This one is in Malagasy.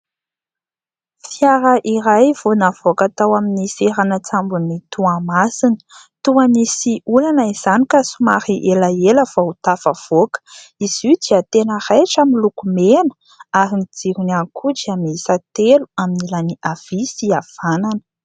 Fiara iray vao navoaka tao amin'ny seranan-tsambon'i Toamasina, toa nisy olana izany ka somary elaela vao tafavoaka, izy io dia tena raitra, miloko mena ary ny jirony ihany koa dia mihisa telo amin'ny ilany avia sy havanana.